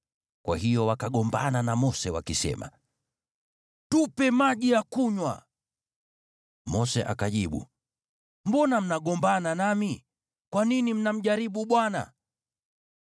Kwa hiyo wakagombana na Mose wakisema, “Tupe maji ya kunywa.” Mose akajibu, “Mbona mnagombana nami? Kwa nini mnamjaribu Bwana ?”